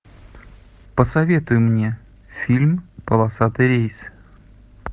посоветуй мне фильм полосатый рейс